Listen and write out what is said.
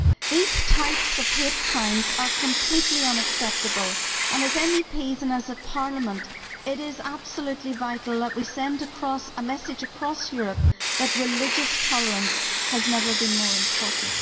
These types of hate crimes are completely unacceptable and as MEPs and as a Parliament it is absolutely vital that we send a message across Europe that religious tolerance has never been more important.